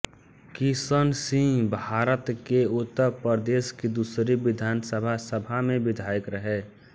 किशन सिंहभारत के उत्तर प्रदेश की दूसरी विधानसभा सभा में विधायक रहे